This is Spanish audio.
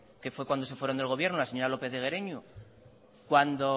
que fue cuando se fueron del gobierno la señora lópez de guereñu cuando